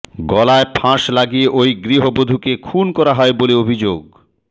গলায় ফাঁস লাগিয়ে ওই গৃহবধূকে খুন করা হয় বলে অভিযোগ